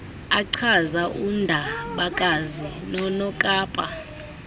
achaza undabakazi nonokapa